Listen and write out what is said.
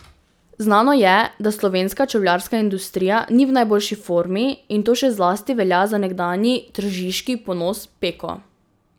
Znano je, da slovenska čevljarska industrija ni v najboljši formi, in to še zlasti velja za nekdanji tržiški ponos Peko.